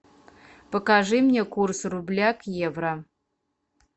покажи мне курс рубля к евро